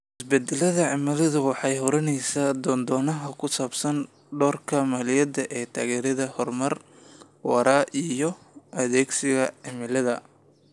Isbeddelka cimiladu waxa ay hurinaysaa doodaha ku saabsan doorka maaliyadda ee taageeridda horumar waara iyo adkeysiga cimilada.